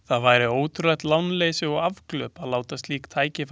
Það væri ótrúlegt lánleysi og afglöp að láta slík tækifæri úr greipum sér ganga.